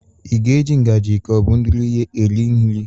Ị ga-eji ngaji ka ọ bụ ndụrụ ihe eri nri?